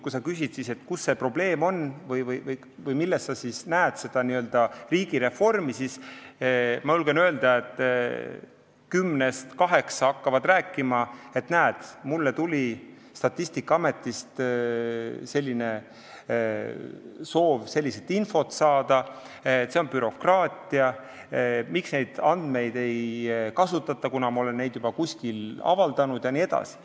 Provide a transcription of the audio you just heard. Kui küsida, kus see probleem on või kus oleks seda n-ö riigireformi vaja, siis ma julgen öelda, et kümnest kaheksa hakkavad rääkima, et näed, mulle tuli Statistikaametist soov sellist infot saada, see on bürokraatia, miks ei kasutata neid andmeid, mida ma olen juba kuskil avaldanud jne.